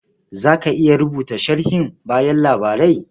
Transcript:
Za ka iya rubuta sharhin bayan labarai?